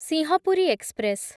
Singhapuri express